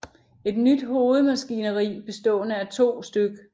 Et nyt hovedmaskineri bestående af 2 stk